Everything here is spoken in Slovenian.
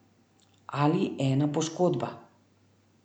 Ali ena poškodba.